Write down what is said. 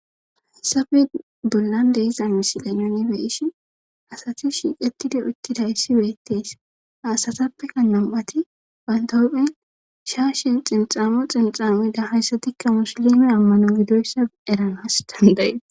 Asafe bollan deiza misile nonibeyishin asati shiiqetida uttida yssi beettees haasatappeka nom'ati bantahophen shaa shin xinxamo xinxamoeda hayssatikka musolime ammano gidoyssa eranas dandayi.